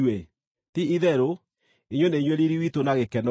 Ti-itherũ, inyuĩ nĩ inyuĩ riiri witũ na gĩkeno giitũ.